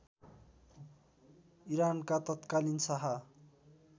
इरानका तत्कालीन शाह